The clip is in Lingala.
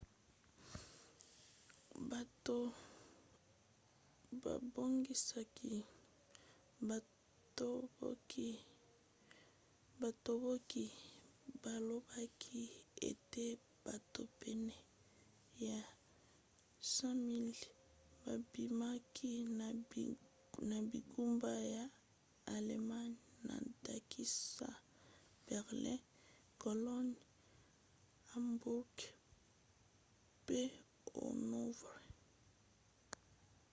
bato babongisaki batomboki balobaki ete bato pene ya 100 000 babimaki na bingumba ya allemagne na ndakisa berlin cologne hamburg pe hanovre